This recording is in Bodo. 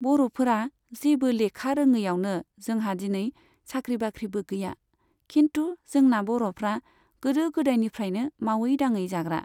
बर'फोरा जेबो लेखा रोङैआवनो जोंहा दिनै साख्रि बाख्रिबो गैया, खिन्थु जोंना बर'फ्रा गोदो गोदायनिफ्रायनो मावै दाङै जाग्रा।